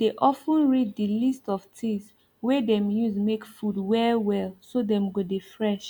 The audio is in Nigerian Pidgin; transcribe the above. dey of ten read the list of things wey dem use make food well well so dem go dey fresh